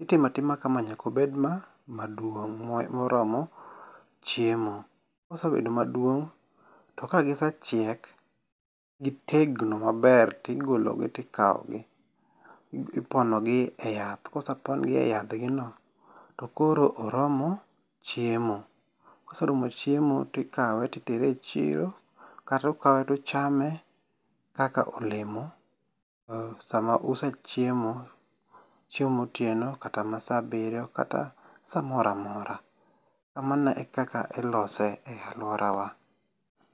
Itimo atima kama nyaka obed ma maduong' moromo chiemo. Kosebedo maduong' to kagise chiek gitegno maber tigologi ti kaw gi. Ipono gi e yath. Kosepon gi e yathgi gi no to koro oromo chiemo. Koseromo chiemo tikawe titere e chiro. Kata ukawe tuchame kaka olemo sama use chiemo chiemo motieno kata ma sa abiryo kata samoro amora. Kamano e kaka ilose e aluora wa.